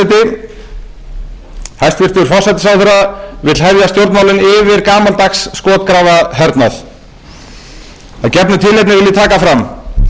forseti hæstvirtur forsætisráðherra vill hefja stjórnmálin yfir gamaldags skotgrafahernað að gefnu tilefni vil ég taka fram að við sjálfstæðismenn mætum